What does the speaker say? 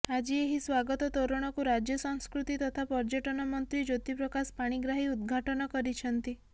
ଆଜି ଏହି ସ୍ୱାଗତ ତୋରଣକୁ ରାଜ୍ୟ ସଂସ୍କୃତି ତଥା ପର୍ଯ୍ୟଟନ ମନ୍ତ୍ରୀ ଜ୍ୟୋତି ପ୍ରକାଶ ପାଣିଗ୍ରାହୀ ଉଦଘାଟନ କରିଛନ୍ତି